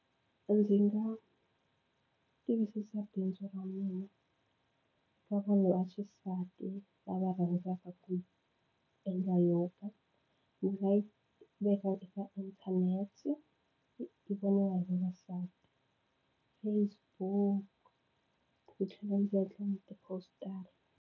Ndzi nga tivisisa bindzu ra mina ka vanhu vaxisati lava rhandzaka ku endla yoga. Ndzi nga yi veka eka inthanete yi voniwa hi vavasati Facebook ni tlhela ndzi endla na tipostara.